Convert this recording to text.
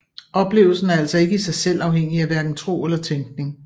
Oplevelsen er altså ikke i sig selv afhængig af hverken tro eller tænkning